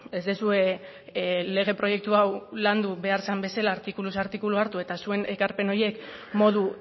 ez duzue lege proiektu hau landu behar zen bezala artikuluz artikulu hartu eta zuen ekarpen horiek modu